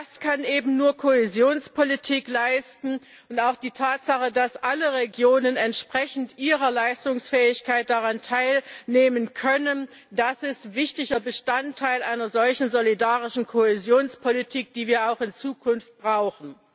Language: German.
Das kann eben nur Kohäsionspolitik leisten. Und auch die Tatsache, dass alle Regionen entsprechend ihrer Leistungsfähigkeit daran teilnehmen können, ist wichtiger Bestandteil einer solchen solidarischen Kohäsionspolitik, die wir auch in Zukunft brauchen.